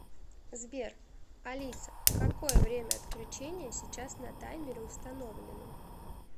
сбер алиса какое время отключения сейчас на таймере установлено